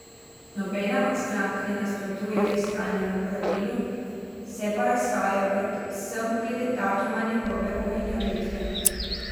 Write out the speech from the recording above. Nobena od strank ne nasprotuje fiskalnemu pravilu, se pa razhajajo predvsem glede datuma njegove uveljavitve.